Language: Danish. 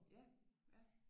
Ja ja